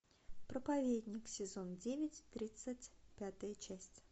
проповедник сезон девять тридцать пятая часть